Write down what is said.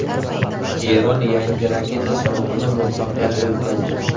Eron yangi raketa sinovini muvaffaqiyatli o‘tkazdi.